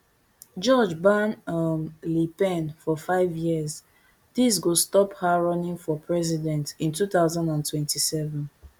judge ban um le pen for fiveyears dis go stop her running for president in two thousand and twenty-seven